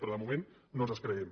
però de moment no ens els creiem